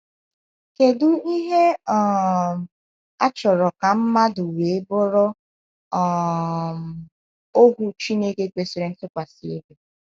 Kedu ihe um a chọrọ ka mmadụ wee bụrụ um ohu Chineke kwesịrị ntụkwasị obi?